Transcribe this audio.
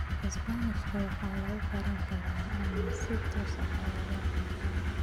Isbaanishka waxaa lagu karin karaa ama si toos ah ayaa loo cuni karaa.